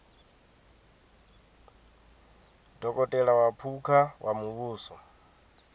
dokotela wa phukha wa muvhuso